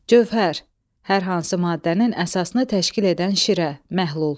Gövhər, hər hansı maddənin əsasını təşkil edən şirə, məhlul.